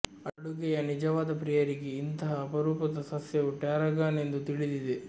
ಅಡುಗೆಯ ನಿಜವಾದ ಪ್ರಿಯರಿಗೆ ಇಂತಹ ಅಪರೂಪದ ಸಸ್ಯವು ಟ್ಯಾರಾಗಾನ್ ಎಂದು ತಿಳಿದಿದೆ